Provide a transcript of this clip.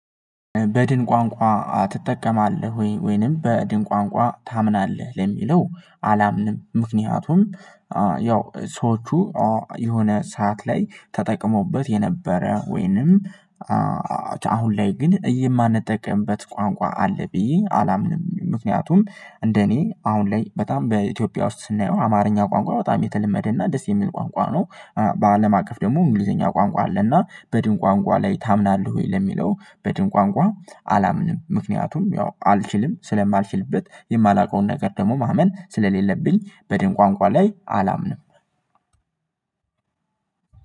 በድን ቋንቋ ትጠቀማለህ ወይንም በድን ቋንቋ ታምናለህ ለሚለው አላምንም? ምክንያቱም ያው ሰዎቹ የሆነ ሰዓት ላይ ተጠቅመዉበት የነበረ ወይንም አሁን ላይ ግን እየማንጠቀምበት ቋንቋ አለ ብዬ አላምንም። ምክንያቱም እንደኔ አሁን ላይ በጣም በኢትዮጵያ ውስጥ ስናየው አማርኛ ቋንቋ በጣም የተለመደ እና ደስ የሚል ቋንቋ ነው። በአለም አቀፍ ደግሞ እንግሊዘኛ ቋንቋ አለና በድን ቋንቋ ላይ ታምናለህ ወይ ለሚለው በድን ቋንቋ አላምንም? ምክንያቱም ያው አልችልም ስለማልችልበት የማላውቀውን ነገር ደግሞ ማመን ስለሌለብኝ በድን ቋንቋ ላይ አላምንም።